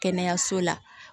Kɛnɛyaso la